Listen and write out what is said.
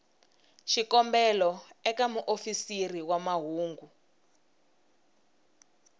xikombelo eka muofisiri wa mahungu